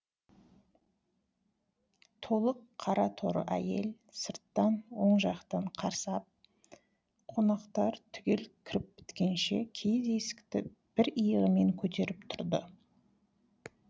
толық қара торы әйел сырттан оң жақтан қарсы ап қонақтар түгел кіріп біткенше киіз есікті бір иығымен көтеріп тұрды